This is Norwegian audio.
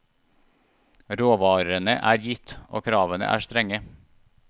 Råvarene er gitt, og kravene er strenge.